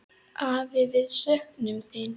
Afi, við söknum þín.